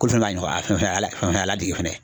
Ko n'a ɲɔgɔna fɛn ala fɛn a ladege fana